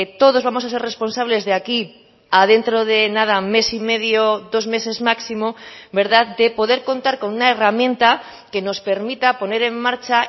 todos vamos a ser responsables de aquí a dentro de nada mes y medio dos meses máximo de poder contar con una herramienta que nos permita poner en marcha